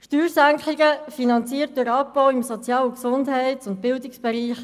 Steuersenkungen, finanziert durch Abbau im Sozial- und Gesundheitsbereich sowie im Bildungsbereich;